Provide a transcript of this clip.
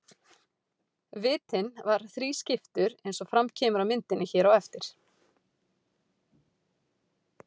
Vitinn var þrískiptur eins og fram kemur á myndinni hér á eftir.